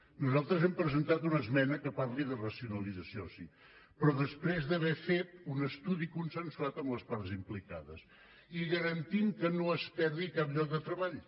nosaltres hem presentat una esmena que parla de racio nalització sí però després d’haver fet un estudi consensuat amb les parts implicades i garantint que no es perdi cap lloc de treball